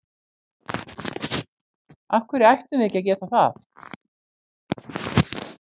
Af hverju ættum við ekki að geta það?